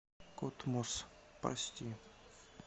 котмос прости